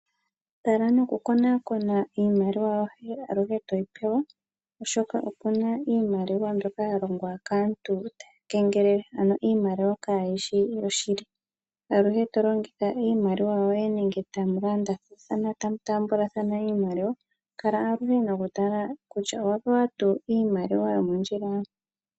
Tala noku konaakona aluhe iimaliwa yoye toyi pewa oshoka opuna iimaliwa mbyoka ya longwa kaantu tayi kengelele ano iimaliwakayishi yoshili. Aluhe to longitha iimaliwa yoye nenge tamu landa tamu taambathana kala noku tala nge owa pewa tuu iimaliwa yomondjila.